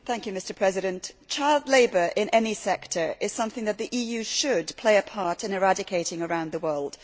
Mr President, child labour in any sector is something that the EU should play a part in eradicating around the world.